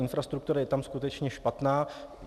Infrastruktura je tam skutečně špatná.